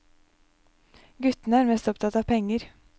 Guttene er mest opptatt av penger.